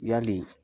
Yali